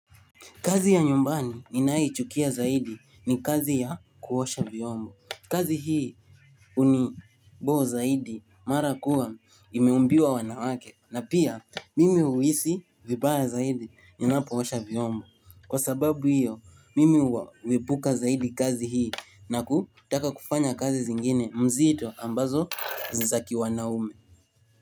Kazi ya nyumbani ninaichukia zaidi ni kazi ya kuosha vyombo. Kazi hii uniboo zaidi mara kuwa imeumbiwa wanawake. Na pia mimi uhisi vibaya zaidi nina poosha vyombo. Kwa sababu hiyo mimi uwipuka zaidi kazi hii na kutaka kufanya kazi zingine mzito ambazo za kiwanaume.